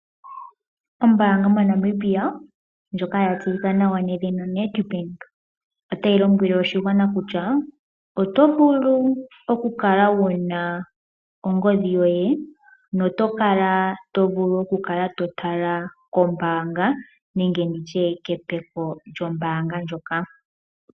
Ombaanga moNamibia ndjoka ya tseyika nawa nedhina Nedbank, otayi lombwele oshigwana kutya oto vulu oku kala wuna ongodhi yoye, noto vulu oku kala to tala kombaanga nenge nditye kepeko lyombaanga ndjoka.